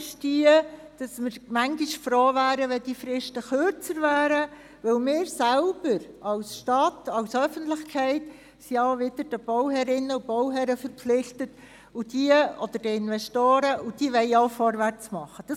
Bisweilen wären wir froh, wenn die Fristen kürzer wären, da wir als Stadt, als Öffentlichkeit den Bauherren oder den Investoren verpflichtet sind und diese vorwärts machen wollen.